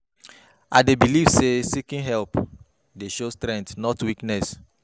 I dey believe say seeking help dey show strength, not weakness.